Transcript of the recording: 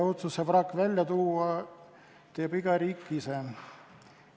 Otsuse vrakk välja tuua teeb iga riik ise.